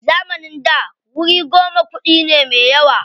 A zamanin da wuri goma kuɗi ne me yawa.